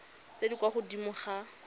tse di kwa godimo ga